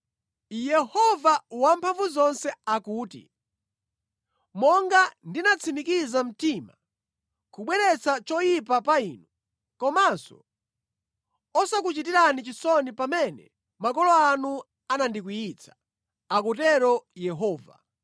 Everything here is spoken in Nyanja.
Yehova Wamphamvuzonse akuti, “Monga ndinatsimikiza mtima kubweretsa choyipa pa inu, komanso osakuchitirani chisoni pamene makolo anu anandikwiyitsa,” akutero Yehova,